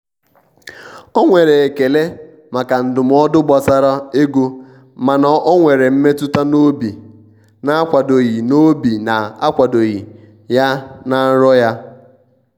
o nwere ekele maka ndụmọdụ gbasara egomana ọ nwere mmetụta n'obi na-akwadoghi n'obi na-akwadoghi ya na nrọ ya.